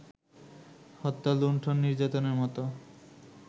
হত্যা, লুণ্ঠন, নির্যাতনের মতো